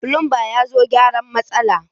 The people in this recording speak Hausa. Fulumba ya zo ya gyaran matsalan.